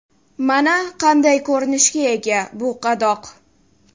Mana qanday ko‘rinishga ega bu qadoq.